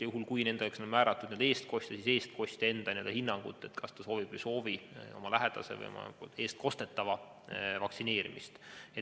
Ja juhul, kui neile on määratud eestkostja, siis eestkostja hinnangut, kas ta soovib või ei soovi oma lähedase või oma eestkostetava vaktsineerimist.